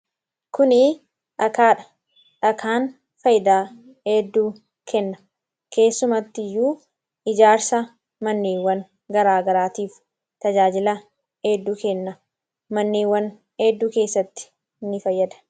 Kuni dhagaa dha. Dhagaan fayyidaa heedduu kenna keessumatti iyyuu ijaarsa mannewwan garaagaraatiif tajaajila heedduu kenna mannewwan heedduu keessatti ni fayyada.